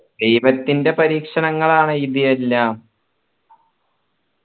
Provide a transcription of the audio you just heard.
ദൈവത്തിൻറെ പരീക്ഷണങ്ങളാണ് ഇത് എല്ലാം